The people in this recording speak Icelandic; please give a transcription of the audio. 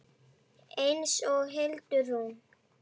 Eins og Hildi Rúnu.